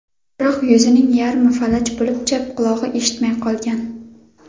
Biroq yuzining yarmi falaj bo‘lib, chap qulog‘i eshitmay qolgan.